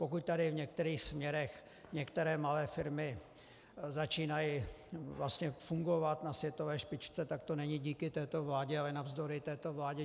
Pokud tady v některých směrech některé malé firmy začínají vlastně fungovat na světové špičce, tak to není díky této vládě, ale navzdory této vládě.